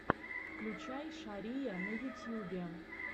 включай шария на ютьюбе